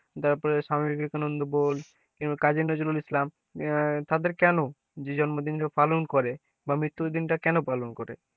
তারপরে স্বামী বিবেকানন্দ বল কাজী নজরুল ইসলাম আহ তাদের কেনো জন্মদিনটা পালন করে বা মৃত্যুদিনটা কেন পালন করে?